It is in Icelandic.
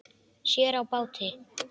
Sér á báti.